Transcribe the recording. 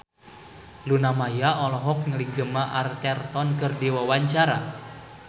Luna Maya olohok ningali Gemma Arterton keur diwawancara